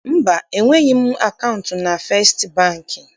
Mba, enweghị m akaụntụ na Festị Bankị.